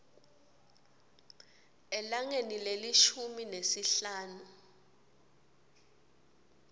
elangeni lelishumi nesihlanu